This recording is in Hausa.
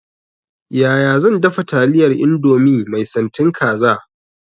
Yaya zan dafa taliyar indomie mai santin kaza?